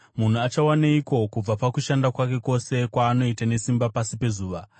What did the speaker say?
Munhu achawaneiko kubva pakushanda kwake kwose kwaanoita nesimba pasi pezuva?